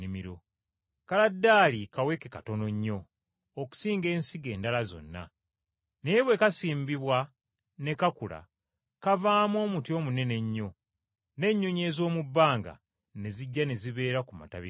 Kaladaali kaweke katono nnyo okusinga ensigo endala zonna. Naye bwe kasimbibwa ne kakula kavaamu omuti omunene ennyo, n’ennyonyi ez’omu bbanga ne zijja ne zibeera ku matabi gaagwo.”